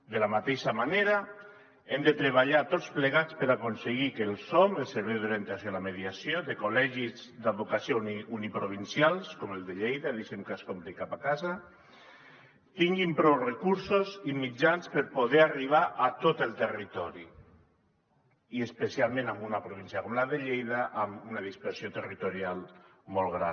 de la mateixa manera hem de treballar tots plegats per aconseguir que el som el servei d’orientació a la mediació de col·legis d’advocacia uniprovincials com el de lleida deixin que escombri cap a casa tinguin prou recursos i mitjans per poder arribar a tot el territori i especialment en una província com la de lleida amb una dispersió territorial molt gran